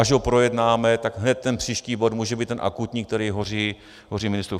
Až ho projednáme, tak hned ten příští bod může být ten akutní, který hoří ministru.